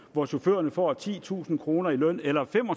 hvor chaufførerne får titusind kroner i løn eller